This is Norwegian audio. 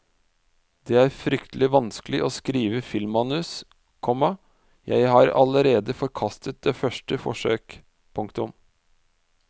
Det er fryktelig vanskelig å skrive filmmanus, komma jeg har allerede forkastet første forsøk. punktum